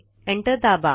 enter दाबा